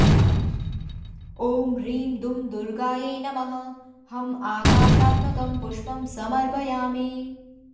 ॐ ह्रीं दुं दुर्गायै नमः हं आकाशात्मकं पुष्पं समर्पयामि